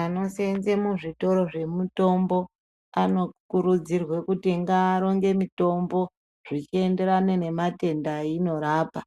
Anoseenze muzvitoro zvemutombo anokurudzirwe kutingavaronge mitombo zvichienderana nematenda einorapa.